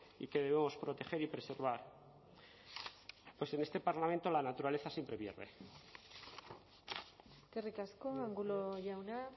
y que debemos proteger y preservar pues en este parlamento la naturaleza siempre pierde eskerrik asko angulo jauna